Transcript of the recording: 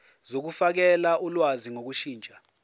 zokufakela ulwazi ngokushintsha